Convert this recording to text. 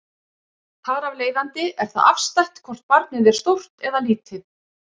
Þar af leiðandi er það afstætt hvort barnið er stórt eða lítið.